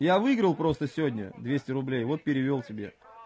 я выиграл просто сегодня двести рублей вот перевёл тебе